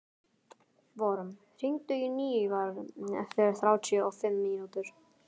Vorm, hringdu í Nývarð eftir þrjátíu og fimm mínútur.